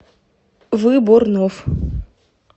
выборнов